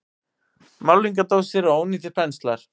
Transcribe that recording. Málningardósir og ónýtir penslar.